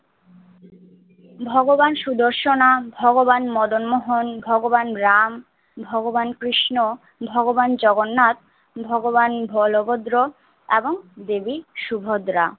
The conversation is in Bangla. ভগবান সুদর্শনা, ভগবান মদনমোহন ভগবান রাম ভগবান কৃষ্ণ ভগবান জগন্নাথ ভগবান বলভদ্র এবং দেবী সুভদ্রা।